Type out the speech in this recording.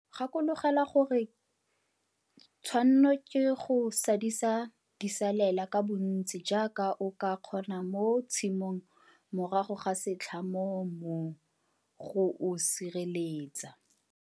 Gakologelwa gore tshwanno ke go sadisa disalela ka bontsi jaaka o ka kgona mo tshimong morago ga setlha mo mmung go o sireletsa.